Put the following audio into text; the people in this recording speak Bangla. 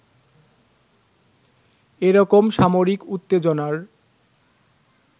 এরকম সামরিক উত্তেজনার